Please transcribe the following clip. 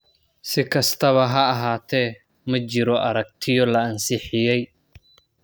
Si kastaba ha ahaatee, ma jirto aragtiyo la ansixiyay.